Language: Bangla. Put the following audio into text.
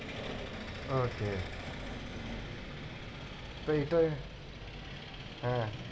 Okay হ্যাঁ